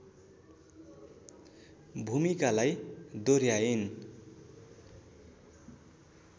भूमिकालाई दोहर्‍याइन्